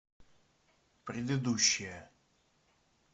предыдущая